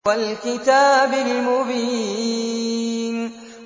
وَالْكِتَابِ الْمُبِينِ